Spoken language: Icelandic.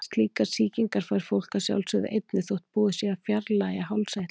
Slíkar sýkingar fær fólk að sjálfsögðu einnig þótt búið sé að fjarlægja hálseitlana.